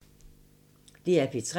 DR P3